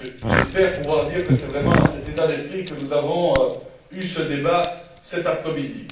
J'espère pouvoir dire que c'est vraiment dans cet état d'esprit que nous avons eu ce débat cet après midi.